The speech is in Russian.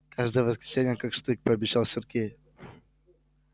каждое воскресенье как штык пообещал сергей